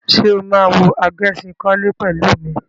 Ṣé o máa wo Agẹṣinkólé pẹ̀lú mi?